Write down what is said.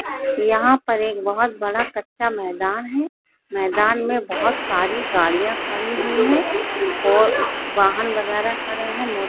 यहाँ पर एक बहुत बड़ा कच्चा मैदान है मैदान मे बहुत सारी गाड़िया खड़ी हुई है और वाहन वगेरा खड़े है।